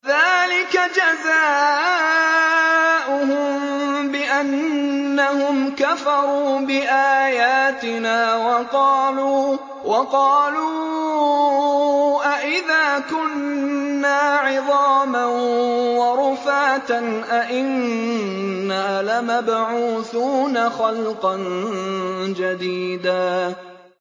ذَٰلِكَ جَزَاؤُهُم بِأَنَّهُمْ كَفَرُوا بِآيَاتِنَا وَقَالُوا أَإِذَا كُنَّا عِظَامًا وَرُفَاتًا أَإِنَّا لَمَبْعُوثُونَ خَلْقًا جَدِيدًا